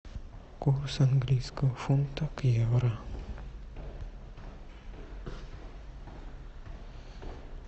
курс английского фунта к евро